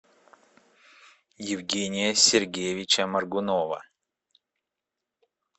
евгения сергеевича моргунова